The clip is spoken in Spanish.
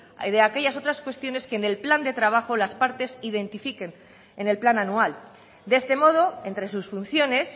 de aquellas otras cuestiones que en el plan de trabajo las partes identifiquen en el plan anual de este modo entre sus funciones